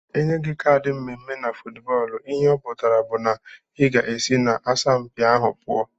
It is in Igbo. Enye gi kad mmeme na footbọlụ ihe ọputara bu na iga esi na asampi ahu pụọ.